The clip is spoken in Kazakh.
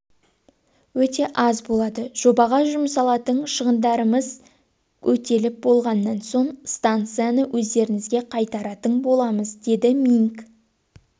өте аз болады жобаға жұмсалатын шығындарымыз өтеліп болғаннан соң станцияны өздеріңізге қайтаратын боламыз деді минг